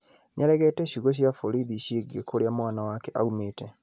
Nĩaregete ciugo cia borithi ciĩgiĩ kũrĩa mwana wake aumĩte.